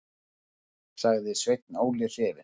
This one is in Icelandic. sagði Sveinn Óli hrifinn.